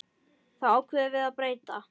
Því ákváðum við að breyta.